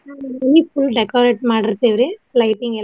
ಆಹ್ ಮನಿ full decorate ಮಾಡಿರ್ತೆವ್ರಿ lighting ಎಲ್ಲ.